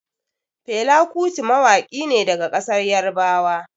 Fela Kuti mawaƙi ne daga ƙasar Yarbawa.